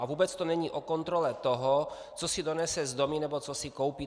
A vůbec to není o kontrole toho, co si donese z domu nebo co si koupí.